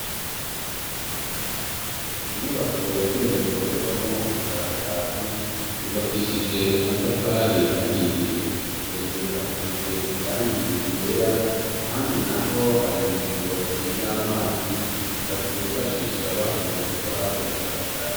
Munyubako yagenewe gukorerwamwo ubushakashatsi yubakishije amatafari ahiye hejuru hasize irangiye igera ahandi na ho hari miringoti y'amazi abifashisha bahisije gukora ubushakashatsi.